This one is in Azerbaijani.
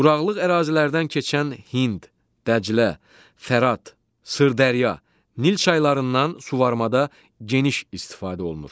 Quraqlıq ərazilərdən keçən Hind, Dəclə, Fərat, Sırdərya, Nil çaylarından su varmada geniş istifadə olunur.